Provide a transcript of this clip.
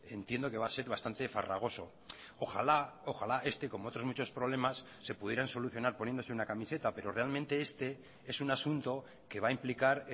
entiendo que va a ser bastante farragoso ojalá ojalá este como otros muchos problemas se pudieran solucionar poniéndose una camiseta pero realmente este es un asunto que va a implicar